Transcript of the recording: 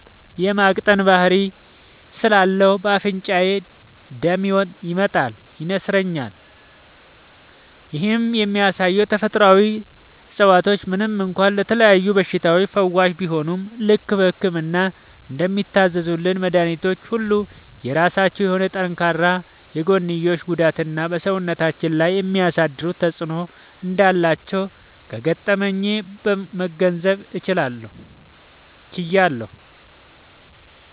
የ ማቅጠን ባህሪ ስላለው በ አፍንጫዬ ደም ይመጣል (ይነስረኛል)። ይህም የሚያሳየው ተፈጥሮአዊ እፀዋቶች ምንም እንኳ ለተለያዩ በሽታዎች ፈዋሽ ቢሆኑም፣ ልክ በህክምና እንደሚታዘዙልን መድኃኒቶች ሁሉ የራሳቸው የሆነ ጠንካራ የጎንዮሽ ጉዳትና በ ሰውነታችን ላይ የሚያሳድሩት ተጵዕኖ እንዳላቸው ከገጠመኜ መገንዘብ ችያለሁ።